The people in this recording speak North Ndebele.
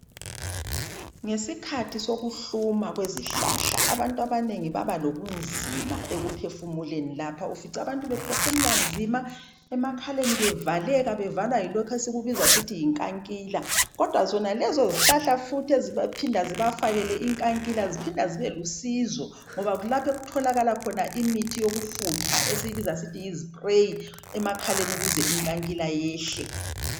Ngesikhathi sokuhluma kwezihlahla abantu abanengi baba lobunzima ekuphefumuleni lapha ufica bephefumula nzima emakhaleni bevaleka bevalwa yilokhu esikubiza sithi yinkankila kodwa zonalezi zihlahla futhi ezipha zibafakele inkankila ziphinda zibe lusizo ngoba kulapho okutholakala khona imithi yokufutha esiyibiza sithi yispray emakhaleni ukuze inkankila iyehle.